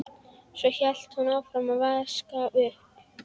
Svo hélt hún áfram að vaska upp.